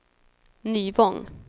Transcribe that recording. Nyvång